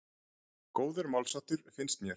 Góður málsháttur, finnst mér.